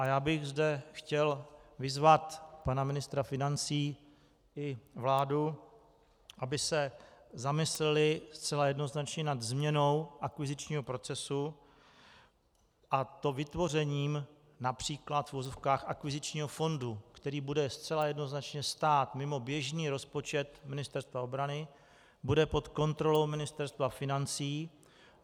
A já bych zde chtěl vyzvat pana ministra financí i vládu, aby se zamysleli zcela jednoznačně nad změnou akvizičního procesu, a to vytvořením například v uvozovkách akvizičního fondu, který bude zcela jednoznačně stát mimo běžný rozpočet Ministerstva obrany, bude pod kontrolou Ministerstva financí.